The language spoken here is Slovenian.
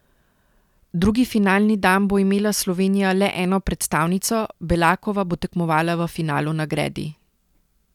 Drugi finalni dan bo imela Slovenija le eno predstavnico, Belakova bo tekmovala v finalu na gredi.